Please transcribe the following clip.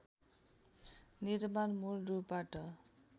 निर्माण मूल रूपबाट